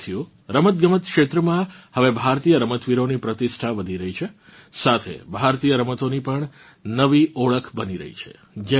સાથીઓ રમતગમત ક્ષેત્રમાં હવે ભારતીય રમતવીરોની પ્રતિષ્ઠા વધી રહી છે સાથે ભારતીય રમતોની પણ નવી ઓળખ બની રહી છે